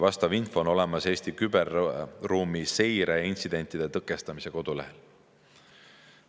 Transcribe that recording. Vastav info on olemas Eesti küberruumi seire ja intsidentide tõkestamise kodulehel.